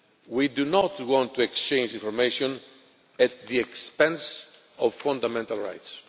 We do not want to exchange information at the expense of fundamental rights.